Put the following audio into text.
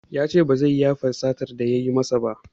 Yace ba zai yafe satar da yayi masa ba